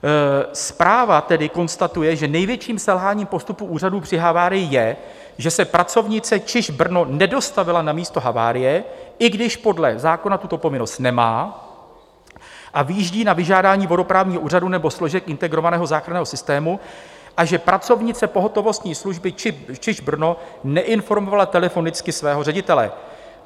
Zpráva tedy konstatuje, že největším selháním postupu úřadů při havárii je, že se pracovnice ČIŽP Brno nedostavila na místo havárie, i když podle zákona tuto povinnost nemá a vyjíždí na vyžádání vodoprávního úřadu nebo složek Integrovaného záchranného systému, a že pracovnice pohotovostní služby ČIŽP Brno neinformovala telefonicky svého ředitele.